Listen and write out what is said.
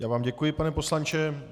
Já vám děkuji, pane poslanče.